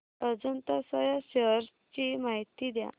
Ajanta soya shares ची माहिती द्या